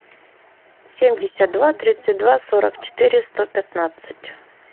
семьдесят два тридцать два сорок четыре сто пятнадцать